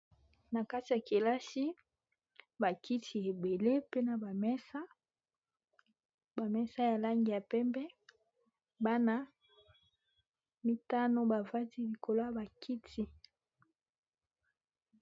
Na kati ya kelasi bakiti ebele pena bamesa bamesa ya langi ya pembe bana mitano bavandi likolo ya bakiti